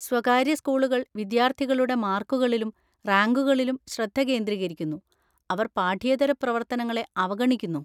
സ്വകാര്യ സ്കൂളുകൾ വിദ്യാർത്ഥികളുടെ മാർക്കുകളിലും റാങ്കുകളിലും ശ്രദ്ധ കേന്ദ്രീകരിക്കുന്നു, അവർ പാഠ്യേതര പ്രവർത്തനങ്ങളെ അവഗണിക്കുന്നു.